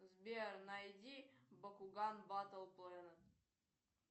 сбер найди бакуган батл плэнет